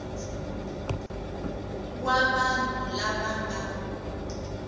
wa vanhu lava va nga